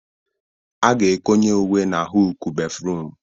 A ga-ekonye uwe n'hụukụ béfrụm.